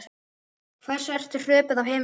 Hversu ertu hröpuð af himni